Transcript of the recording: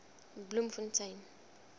bloemfontein